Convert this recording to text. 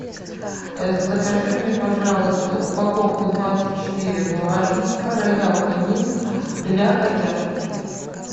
закажи мне пожалуйста упаковку двадцать четыре влажника роял канин для котят